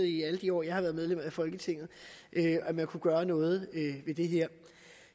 i alle de år jeg har været medlem af folketinget at man kunne gøre noget ved det her